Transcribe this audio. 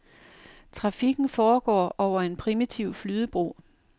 Trafikken foregår over en primitiv flydebro.